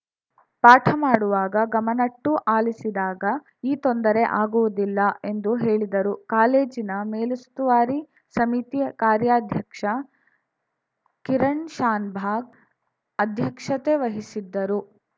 ಪಾಠ ಮಾಡುವಾಗ ಗಮನಟ್ಟು ಆಲಿಸಿದಾಗ ಈ ತೊಂದರೆ ಆಗುವುದಿಲ್ಲ ಎಂದು ಹೇಳಿದರು ಕಾಲೇಜಿನ ಮೇಲುಸ್ತುವಾರಿ ಸಮಿತಿ ಕಾರ್ಯಾಧ್ಯಕ್ಷ ಕಿರಣ್‌ ಶಾನಬಾಗ್‌ ಅಧ್ಯಕ್ಷತೆ ವಹಿಸಿದ್ದರು